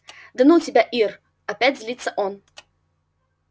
да ну тебя ир опять злится он